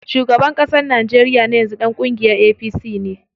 Shugaban ƙasar Najeriya na yanzu ɗan kungiyar APC ne.